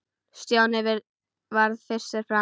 Stjáni varð fyrstur fram.